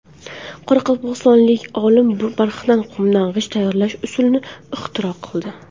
Qoraqalpog‘istonlik olim barxan qumdan g‘isht tayyorlash usulini ixtiro qildi.